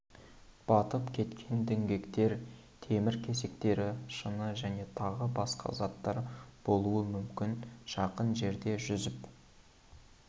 батып кеткен діңгектер темір кесектері шыны және тағы басқа заттар болуы мүмкін жақын жерде жүзіп